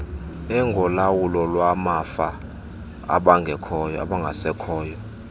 engolawulo lwamafa abangasekhoyo